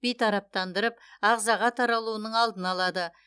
бейтараптандырып ағзаға таралуының алдын алады